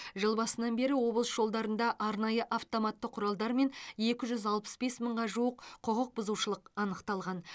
жыл басынан бері облыс жолдарында арнайы автоматты құралдармен екі жүз алпыс бес мыңға жуық құқықбұзушылық анықталған